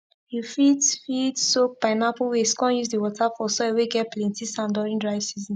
you fit fit soak pineapple waste come use the water for soil whey get plenty sand during dry season